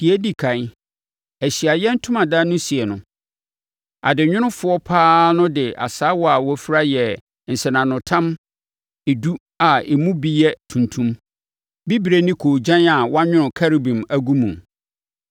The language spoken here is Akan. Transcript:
Deɛ ɛdi ɛkan, Ahyiaeɛ Ntomadan no sie no, adenwonofoɔ pa ara no de asaawa a wɔafira yɛɛ nsɛnanotam edu a emu bi yɛ tuntum, bibire ne koogyan a wɔanwono Kerubim agu mu.